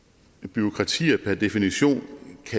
bureaukrati per definition